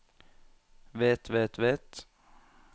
vet vet vet